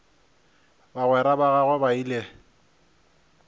bagwera ba gagwe ba ile